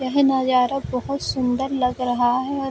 यह नजारा बहुत सुन्दर लग रहा है और --